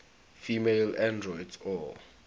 female androids or